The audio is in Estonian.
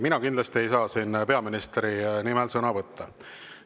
Mina kindlasti ei saa siin peaministri nimel sõna võtta.